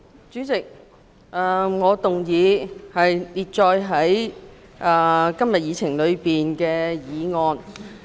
主席，我動議通過印載於議程內的議案。